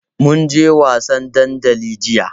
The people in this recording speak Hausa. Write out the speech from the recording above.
Mun je wasan dandali jiya.